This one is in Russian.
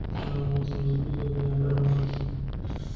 рано утром разбудил меня барабан